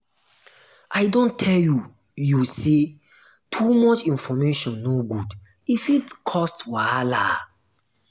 i don tell you you sey too much information no good e fit cause wahala.